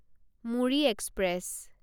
Muri express